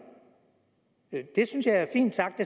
det synes jeg er fint sagt